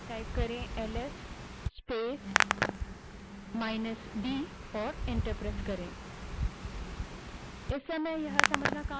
अब ls space minus d type करें और enter दबायें